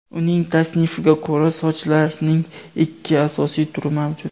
Uning tasnifiga ko‘ra, sochlarning ikki asosiy turi mavjud.